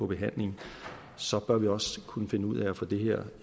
behandlingen så bør vi også kunne finde ud af at få det her